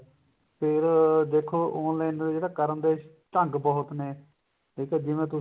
ਫੇਰ ਦੇਖੋ online ਜਿਹੜਾ ਕਰੋਗੇ ਢੰਗ ਬਹੁਤ ਨੇ ਇਹ ਤਾਂ ਜਿਵੇਂ ਤੁਸੀਂ